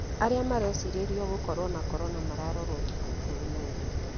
Arĩa marecirĩrio gũkorwo na korona mararorwo thikũ ikũmi na inya